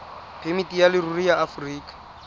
phemiti ya leruri ya aforika